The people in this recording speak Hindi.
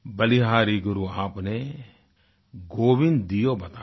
बलिहारी गुरु आपने गोविन्द दियो बताय